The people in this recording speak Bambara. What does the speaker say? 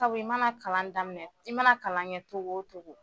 Sabu i mana kalan daminɛ i mana kalan kɛ cogo o cogo